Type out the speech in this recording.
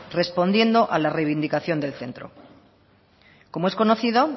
respondiendo a la reivindicación del centro como es conocido